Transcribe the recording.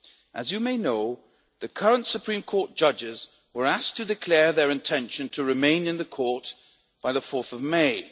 As you may know, the current Supreme Court judges were asked to declare their intention to remain in the court by 4 May.